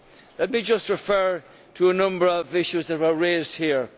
Let me just refer to a number of issues that were raised here.